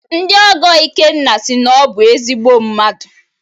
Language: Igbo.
Ndị ọgọ Ikenna sị na ọ bụ ezigbo mmadụ.